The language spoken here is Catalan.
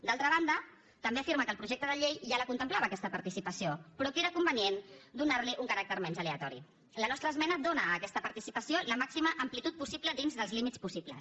d’altra banda també afirma que el projecte de llei ja la contemplava aquesta participació però que era convenient donar li un caràcter menys aleatori la nostra esmena dóna a aquesta participació la màxima amplitud possible dins dels límits possibles